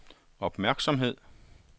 opmærksomhed